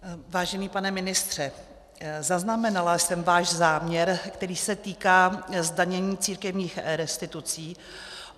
Vážený pane ministře, zaznamenala jsem váš záměr, který se týká zdanění církevních restitucí.